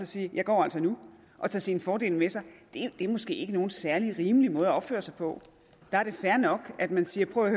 sige jeg går altså nu og tage sine fordele med sig det er måske ikke nogen særlig rimelig måde at opføre sig på der er det fair nok at man siger prøv at